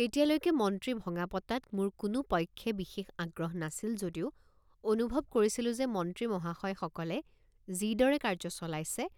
তেতিয়ালৈকে মন্ত্ৰী ভঙাপতাত মোৰ কোনো পক্ষে বিশেষ আগ্ৰহ নাছিল যদিও অনুভৱ কৰিছিলোঁ যে মন্ত্ৰী মহাশয়সকলে যিদৰে কাৰ্য চলাইছে